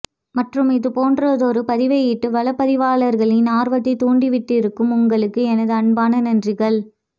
மற்றும் இது போன்றதொரு பதிவை இட்டு வலப்பதிவர்களின் ஆர்வத்தைத் தூண்டிவிட்டிருக்கும் உங்களுக்கு எனது அன்பான நன்றிகள்